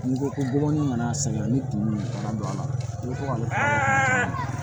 N'i ko ko gɔbɔni mana segin ka ni ɲɔgɔn don a la n'i ko kana